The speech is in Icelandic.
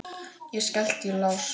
Ég skellti í lás.